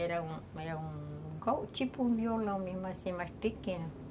Era um um tipo um violão mesmo, mas pequeno.